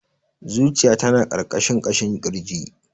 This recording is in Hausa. Zuciya ta na ƙarƙashin ƙashin kirji.